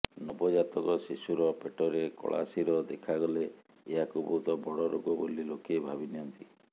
ନବଜାତକ ଶିଶୁର ପେଟରେ କଳାଶିର ଦେଖାଗଲେ ଏହାକୁ ବହୁତ ବଡ଼ ରୋଗ ବୋଲି ଲୋକେ ଭାବିନିଅନ୍ତି